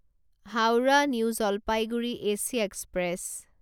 Howrah new Jalpaiguri AC express